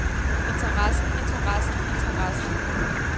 interessen interessen interessen